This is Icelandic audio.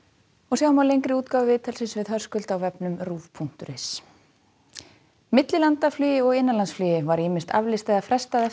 sjá má lengri útgáfu viðtalsins við Höskuld á ruv punktur is millilandaflugi og innanlandsflugi var ýmist aflýst eða frestað